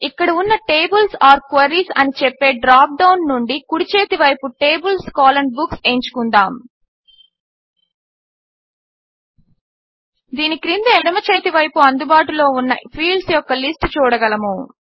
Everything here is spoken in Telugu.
ఇక్కడ ఉన్న టేబుల్స్ ఓర్ క్వెరీస్ అని చెప్పే డ్రాప్ డౌన్ నుండి కుడిచేతివైపు TablesBooks ఎంచుకుందాము దీని క్రింద ఎడమచేతివైపున అందుబాటులో ఉన్న ఫీల్డ్స్ యొక్క లిస్ట్ చూడగలము